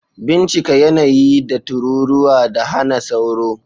Bincika yanayi da tururuwa da hana sauro